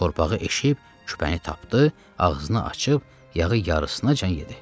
Torpağı eşib küpəni tapdı, ağzını açıb yağı yarısınacan yedi.